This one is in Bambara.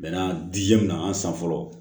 Bɛnna di min ma an san fɔlɔ